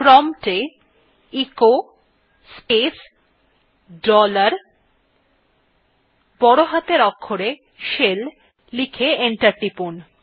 prompt এ echo space dollar বড় হাতের অক্ষরে শেল লিখে এন্টার টিপুন